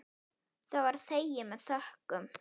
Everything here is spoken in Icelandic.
Það var þegið með þökkum.